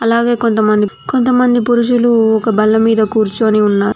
అలాగే కొంతమంది కొంతమంది పురుషులు ఒక బల్ల మీద కూర్చొని ఉన్నారు